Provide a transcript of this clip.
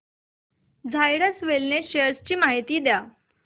Zydus wellness shares ची माहिती द्या